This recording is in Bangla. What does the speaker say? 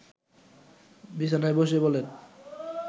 বিছানায় বসে বলেন